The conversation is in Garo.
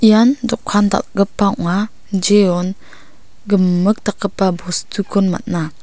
ian dokan dal·gipa ong·a jeon gimik dakgipa bostukon man·a.